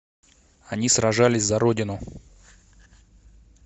они сражались за родину